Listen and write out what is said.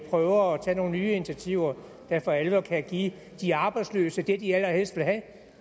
prøver at tage nogle nye initiativer der for alvor kan give de arbejdsløse det de allerhelst vil have